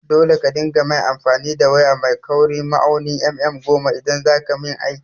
Dole ka dinga main amfani da waya mai kaurin ma'aunin mm goma idaj zakayi min aiki!